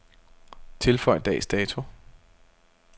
Tilføj dags dato.